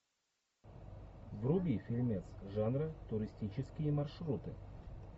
вруби фильмец жанра туристические маршруты